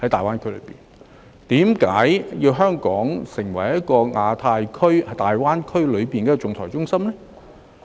為何要香港成為亞太區及大灣區的仲裁中心呢？